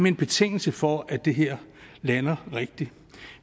en betingelse for at det her lander rigtigt